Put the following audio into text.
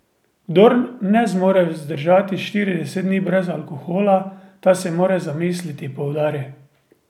Kdor ne zmore vzdržati štirideset dni brez alkohola, ta se mora zamisliti, poudari.